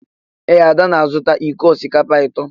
Ee, Ada na-azụta iko osikapa atọ.